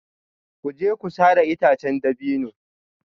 Ku je ku sare itacen dabino